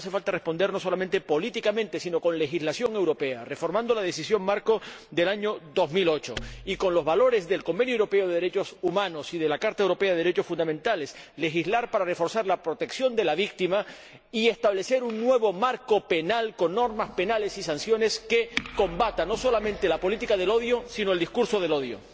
Por tanto, hace falta responder no solo políticamente, sino con legislación europea, reformando la Decisión marco del año 2008 y, atendiendo a los valores del Convenio Europeo de Derechos Humanos y de la Carta de los Derechos Fundamentales de la UE, legislar para reforzar la protección de la víctima y establecer un nuevo marco penal, con normas penales y sanciones que combatan no solamente la política del odio, sino también el discurso del odio.